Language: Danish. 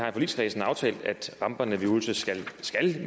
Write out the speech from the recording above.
i forligskredsen har aftalt at ramperne ved ulse skal